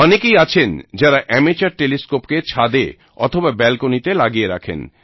অনেকেই আছেন যারা অ্যামেচার টেলিস্কোপ কে ছাদে অথবা balconyতে লাগিয়ে রাখেন